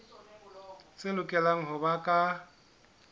tse lokelang ho ba ka